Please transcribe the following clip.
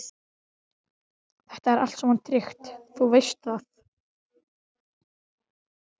Þetta er allt saman tryggt, þú veist það.